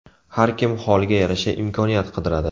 Har kim holiga yarasha imkoniyat qidiradi.